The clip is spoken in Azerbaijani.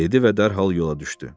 Dedi və dərhal yola düşdü.